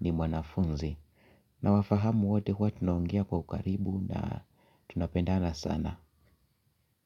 ni mwanafunzi. Na wafahamu wote huwa tunaongia kwa karibu na tunapendana sana.